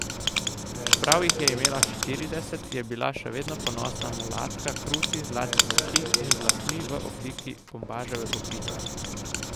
Čeprav jih je imela štirideset, je bila še vedno ponosna mulatka krutih zlatih oči in z lasmi v obliki bombaževe lupine.